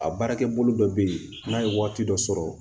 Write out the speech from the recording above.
A baarakɛ bolo dɔ bɛ yen n'a ye waati dɔ sɔrɔ